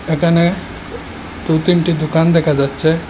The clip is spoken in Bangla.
এখানে দু'তিনটি দোকান দেখা যাচ্ছে।